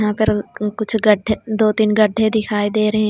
यहां पर अ अ कुछ गढ्ढे दो-तीन गढ्ढे दिखाई दे रहे हैं.